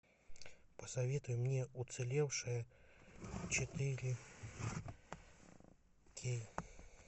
посоветуй мне уцелевшая четыре кей